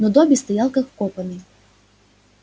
но добби стоял как вкопанный